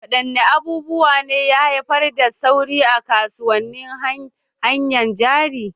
Wadanne abubuwa ne ya haifar da sauyi a kasuwannin hannayen jari?